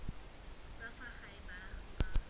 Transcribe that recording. tsa fa gae baagi ba